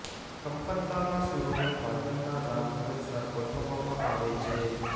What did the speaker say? કંપન તારના સૂરોને વાદનના રાગ અનુસાર ગોઠવવામાં આવે છે